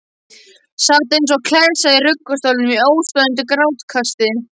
Sat eins og klessa í ruggustólnum í óstöðvandi grátkasti.